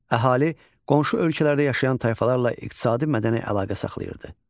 Əhali qonşu ölkələrdə yaşayan tayfalarla iqtisadi-mədəni əlaqə saxlayırdı.